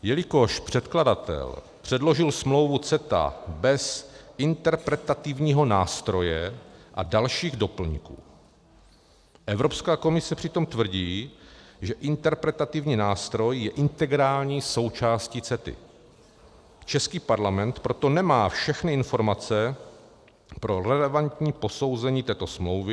Jelikož předkladatel předložil smlouvu CETA bez interpretativního nástroje a dalších doplňků, Evropská komise přitom tvrdí, že interpretativní nástroj je integrální součástí CETA, český parlament proto nemá všechny informace pro relevantní posouzení této smlouvy.